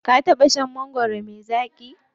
Ka taɓa shan mangwaro me zaƙi?